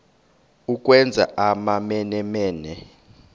ukwenza amamene mene